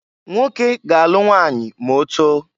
Nwoke ga-alụ nwanyị ma otoo.